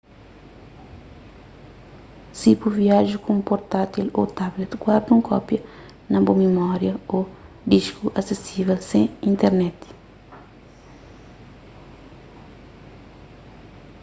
si bu viaja ku un portátil ô tablet guarda un kópia na bu mimória ô disku asesível sen internet